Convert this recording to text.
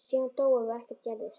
Síðan dóum við og ekkert gerðist.